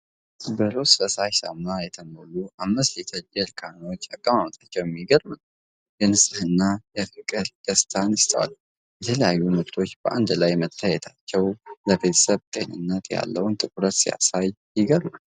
በሮዝ ፈሳሽ ሳሙና የተሞሉ 5 ሊትር ጀሪካኖች አቀማምጣቸው የሚገርም ነው፣ የንጽህና ፍቅርና ደስታ ይስተዋላል። የተለያየ ምርቶች በአንድ ላይ መታየታቸው፣ ለቤተሰብ ጤንነት ያለውን ትኩረት ሲያሳይ ይገርማል።